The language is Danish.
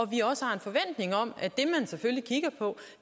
vi også har en forventning om at